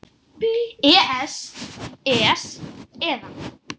Það er mikið rétt.